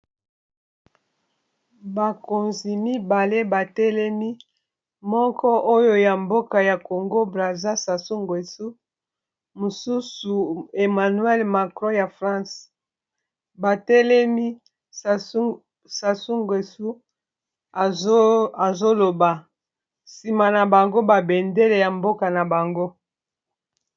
Bakonzi mibale batelemi moko oyo ya mboka ya congobra aza sasungwesu mosusu emmanuel macro ya france batelemi sasunguesu azoloba nsima na bango babendele ya mboka na bango.